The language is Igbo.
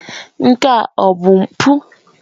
Nke a ọ bụ mpụ?